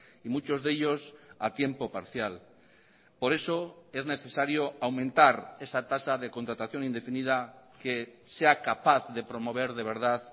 y muchos de ellos a tiempo parcial por eso es necesario aumentar esa tasa de contratación indefinida que sea capaz de promover de verdad